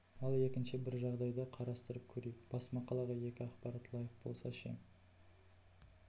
ал екінші бір жағдайды қарастырып көрейік бас мақалаға екі ақпарат лайық болса ше